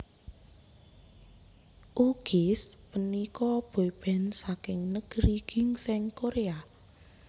U Kiss punika boyband saking Negeri Ginseng Korea